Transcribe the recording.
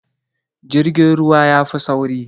Jirgin ruwa yafi sauri